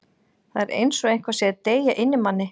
Það er eins og eitthvað sé að deyja inni í manni.